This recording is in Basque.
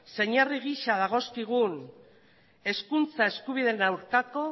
zein herri gisa dagozkigun hezkuntza eskubideen aurkako